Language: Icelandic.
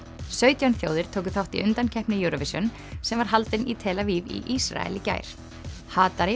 sautján þjóðir tóku þátt í undankeppni Eurovision sem var haldin í tel Aviv í Ísrael í gær